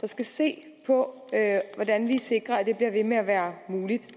der skal se på hvordan vi sikrer at det bliver ved med at være muligt